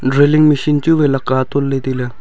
drilling machine chu wai lak ka e ton ley tai ley.